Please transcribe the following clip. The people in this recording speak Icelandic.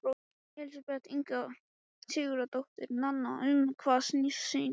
Elísabet Inga Sigurðardóttir: Nanna, um hvað snýst sýningin?